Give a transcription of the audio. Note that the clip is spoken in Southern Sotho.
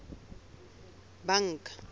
banka